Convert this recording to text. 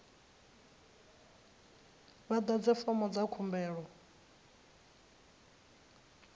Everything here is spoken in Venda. vha ḓadze fomo dza khumbelo